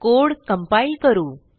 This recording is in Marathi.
कोड कंपाइल करू